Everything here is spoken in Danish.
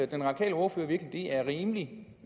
den radikale ordfører virkelig det er rimeligt